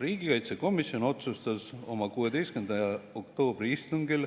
Riigikaitsekomisjon otsustas oma 16. oktoobri istungil